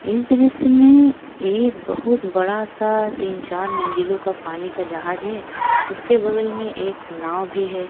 इस डिश में एक बहुत बड़ा सा तीन चार मंजिलो का पानी का जाहज है उसके बगल में एक नाव भी है।